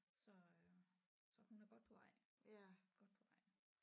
Så øh så hun er godt på vej godt på vej